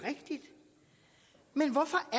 men